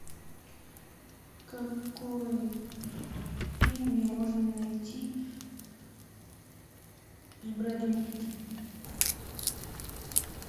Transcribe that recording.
какой фильм мне можно найти с брэдом питтом